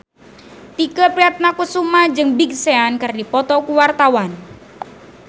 Tike Priatnakusuma jeung Big Sean keur dipoto ku wartawan